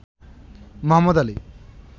Mohammad Ali